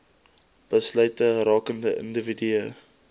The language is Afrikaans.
besluite rakende individue